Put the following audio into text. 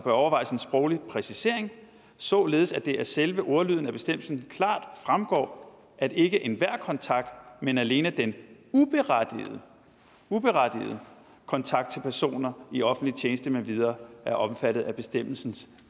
overvejes en sproglig præcisering således at det af selve ordlyden af bestemmelsen klart fremgår at ikke enhver kontakt men alene den uberettigede uberettigede kontakt til personer i offentlig tjeneste med videre er omfattet af bestemmelsens